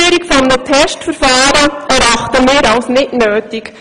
Die Einführung eines Testverfahrens erachten wir als nicht nötig.